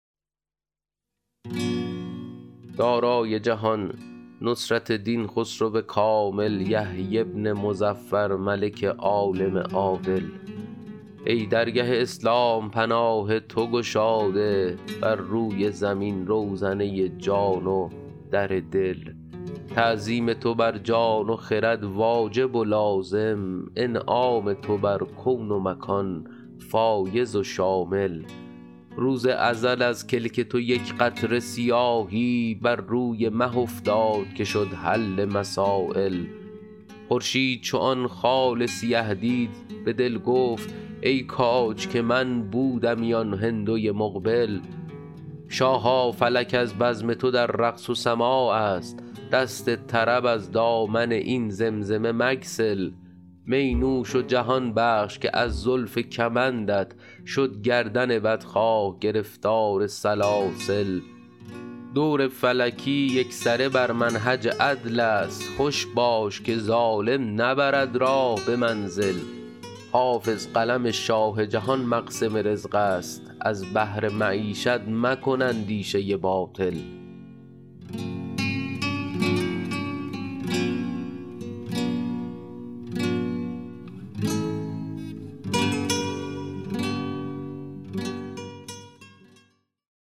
دارای جهان نصرت دین خسرو کامل یحیی بن مظفر ملک عالم عادل ای درگه اسلام پناه تو گشاده بر روی زمین روزنه جان و در دل تعظیم تو بر جان و خرد واجب و لازم انعام تو بر کون و مکان فایض و شامل روز ازل از کلک تو یک قطره سیاهی بر روی مه افتاد که شد حل مسایل خورشید چو آن خال سیه دید به دل گفت ای کاج که من بودمی آن هندوی مقبل شاها فلک از بزم تو در رقص و سماع است دست طرب از دامن این زمزمه مگسل می نوش و جهان بخش که از زلف کمندت شد گردن بدخواه گرفتار سلاسل دور فلکی یکسره بر منهج عدل است خوش باش که ظالم نبرد راه به منزل حافظ قلم شاه جهان مقسم رزق است از بهر معیشت مکن اندیشه باطل